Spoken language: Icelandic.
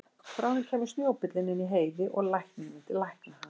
Bráðum kæmi snjóbíllinn inn í Heiði og læknirinn myndi lækna hann.